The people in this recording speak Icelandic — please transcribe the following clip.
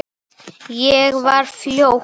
Ég var ljót.